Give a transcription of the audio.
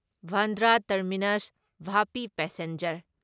Bandra terminus Vapi passenger